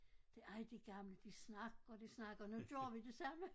Det ej de gamle de snakker og de snakker og nu gør vi det samme